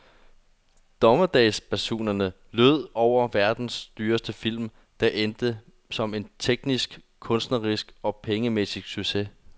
Dommedagsbasunerne lød over verdens dyreste film, der endte som en teknisk, kunstnerisk og pengemæssig succes.